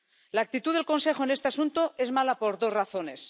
La actitud del Consejo en este asunto es mala por dos razones.